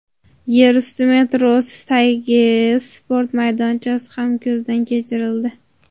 Yerusti metrosi tagidagi sport maydonchasi ham ko‘zdan kechirildi.